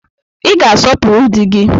Ị ga-asọpụrụ di gị